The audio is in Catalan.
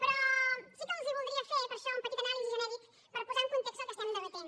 però sí que els voldria fer per això una petita anàlisi genèrica per posar en context el que estem debatent